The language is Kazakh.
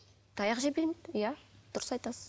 таяқ жей бермейді иә дұрыс айтасыз